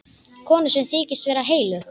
Konu sem þykist vera heilög.